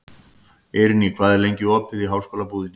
Eirný, hvað er lengi opið í Háskólabúðinni?